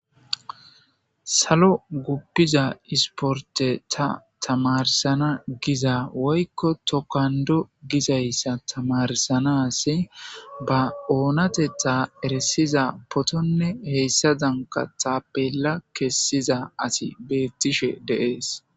Salo guppiza isporte ta tamarsana giza woykko tokando gizayssa tamarsanasi ba oonatetha eresiza potonne heyssa danka tappella kessiza asi beettishe deees.